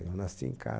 Eu nasci em